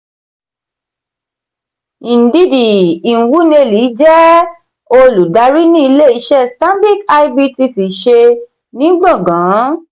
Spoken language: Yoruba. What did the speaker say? ndidi nwuneli jẹ olùdarí ní ilé iṣé stanbic ibtc ṣe ní gbọ̀ngan.